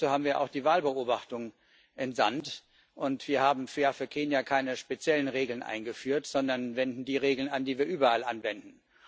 Dazu haben wir auch die Wahlbeobachtung entsandt, und wir haben für Kenia keine speziellen Regeln eingeführt, sondern wenden die Regeln an, die wir überall anwenden.